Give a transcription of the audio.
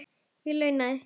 Ég launaði